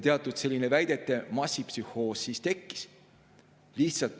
Teatud selline massipsühhoos siis tekkis.